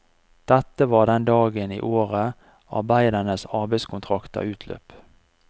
Dette var den dagen i året arbeidernes arbeidskontrakter utløp.